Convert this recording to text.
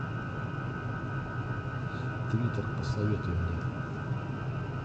твиттер посоветуй мне